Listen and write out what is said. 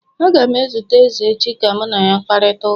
Aga m ezute eze echi ka mụ na ya kparịta ụka